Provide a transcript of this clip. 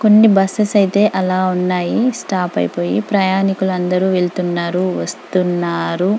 కొన్ని బస్సెస్ ఐతే ఆలా ఉన్నాయ్ స్టాప్ అయిపోయి ప్రయాణికులు అందరు వెళ్తున్నారు వస్తున్నారు.